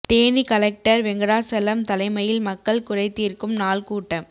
Theni collector Venkatachalam தலைமையில் மக்கள் குறைதீர்க்கும் நாள் கூட்டம்